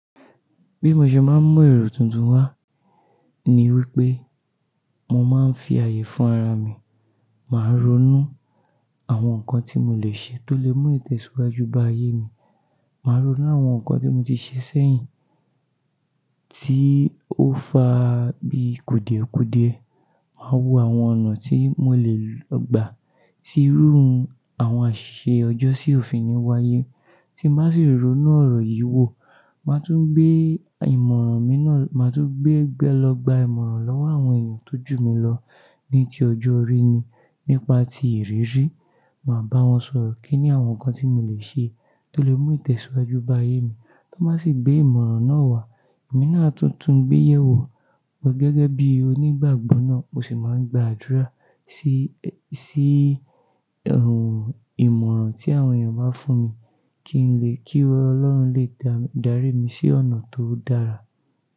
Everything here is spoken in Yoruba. Bí mo ṣe máa ń mu èrò tuntun wá ni wípé mo máa ń fi ààyè fún ara mi, màá ronú àwọn nǹkan tí mo lè ṣe tó lè mú ìtẹ̀síwájú bá ayé mi. Màá ronú àwọn nǹkan tí mo ti ṣe sẹ́yìn tí ó fa bií kùdìẹ̀kùdìẹ̀. Màá wo àwọn ọ̀nà tí mo lè lọ gbà tí irú àwọn àṣisẹ ọjọ́sì ò fi ni wáyé. Tí n bá sì ronú ọ̀rọ̀ yìí wò, màá tún gbé ìmọ̀ràn mi náà, màá tún gbé lọ gbà ìmọ̀ràn lọ́wọ́ àwọn èèyàn tó jù mí lọ ní tí ọjọ́ rí ni nípa tí ìrírí. Màá bá wọn sọ̀rọ̀ kí ni àwọn nǹkan tí mo lè ṣe tó lè mú ìtẹ̀síwájú bá ayé mi. Tí wọ́n bá sì gbé ìmọ̀ràn náà wá, èmi náà a tún tún gbéyẹ̀ wò, gẹ́gẹ́ bí onígbàgbọ́ náà, mo sì máa ń gba àdúrà sí, sí ìmọ̀ràn tí àwọn èèyàn bá fún mi kí n lè, kí Ọlọ́run lè dárí mi sí ọ̀nà tó dára.